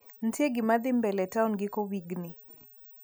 Ntie gima dhii mbele town giko wigni?